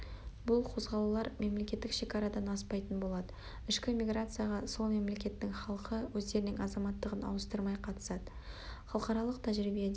бұл қозғалулар мемлекеттік шекарадан аспайтын болады ішкі миграцияға сол мемлекеттің халқы өздерінің азаматтығын ауыстырмай қатысады халықаралық тәжірибеде